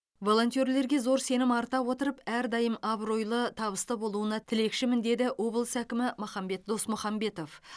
волонтерлерге зор сенім арта отырып әдайым абыройлы табысты болуына тілекшімін деді облыс әкімі махамбет досмұхамбетов